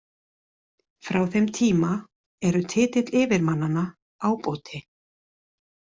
Frá þeim tíma eru titill yfirmannanna ábóti.